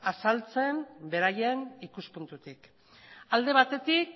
azaltzen beraien ikuspuntutik alde batetik